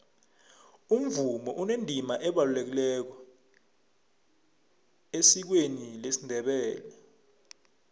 umvumo unendima ebalulekileko esikweni lesindebele